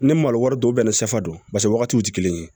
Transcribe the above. Ne malo wari don bɛnɛ sɛfa don paseke wagatiw te kelen ye